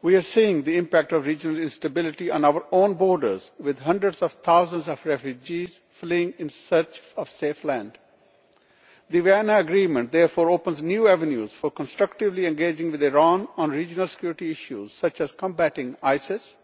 We are seeing the impact of regional instability on our own borders, with hundreds of thousands of refugees fleeing in search of a safe land. The Vienna Agreement therefore opens new avenues for constructively engaging with Iran on regional security issues, such as combating Isis,